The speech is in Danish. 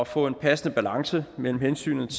få en passende balance mellem hensynet